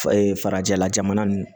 farajɛla jamana ninnu